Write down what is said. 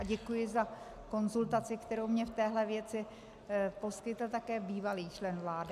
A děkuji za konzultaci, kterou mi v téhle věci poskytl také bývalý člen vlády.